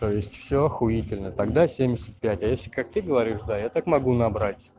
то есть все ахуительно тогда семьдесят пять а если как ты говоришь да я так могу набрать